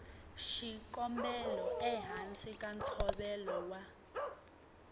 xikombelo ehansi ka ntshovelo wa